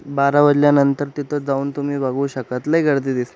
बारा वाजल्यानंतर तिथ जाऊन तुम्ही बघू शकत लय गर्दी दिस --